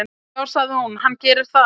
"""Já, sagði hún, hann gerir það."""